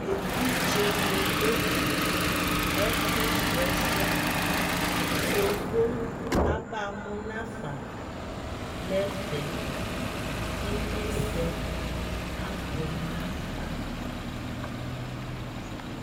ɛvidzɛ nidʋ ɛƒʋsrɔ ɛsɛ, yɔvɔ aba mʋ naƒa nɛƒɛ kʋ inyɛsɛ abʋɛ nʋ aƒa